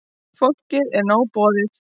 Fólki er nóg boðið.